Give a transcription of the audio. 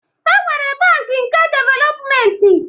E nwere bankị nke developmenti